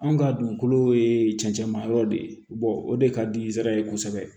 Anw ka dugukolo ye cɛncɛnma yɔrɔ de ye o de ka di n sera ye kosɛbɛ